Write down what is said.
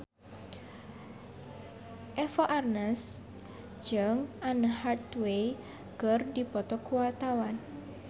Eva Arnaz jeung Anne Hathaway keur dipoto ku wartawan